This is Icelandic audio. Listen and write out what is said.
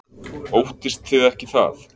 Óttist þið ekki það?